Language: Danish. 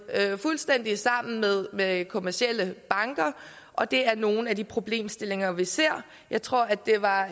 fuldstændig sammen med med kommercielle banker og det er nogle af de problemstillinger vi ser jeg tror at det var